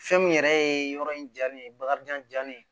Fɛn min yɛrɛ ye yɔrɔ in ja ne ye bakarijan ne ye